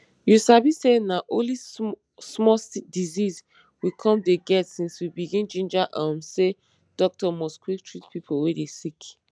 you sabi say na only small disease we com dey get since we begin ginger um say doctor must quick treat pipo wey dey sick